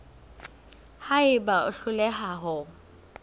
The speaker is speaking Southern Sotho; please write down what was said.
ha eba o hloleha ho